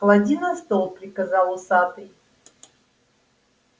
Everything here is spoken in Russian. клади на стол приказал усатый